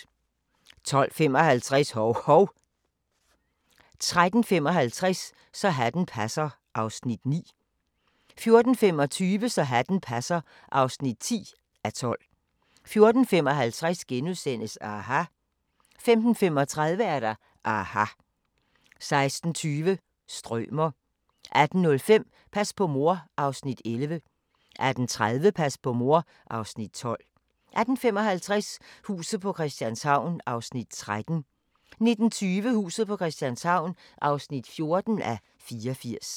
12:55: Hov-Hov 13:55: Så hatten passer (9:12) 14:25: Så hatten passer (10:12) 14:55: aHA! * 15:35: aHA! 16:20: Strømer 18:05: Pas på mor (Afs. 11) 18:30: Pas på mor (Afs. 12) 18:55: Huset på Christianshavn (13:84) 19:20: Huset på Christianshavn (14:84)